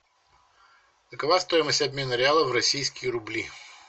какова стоимость обмена реала в российские рубли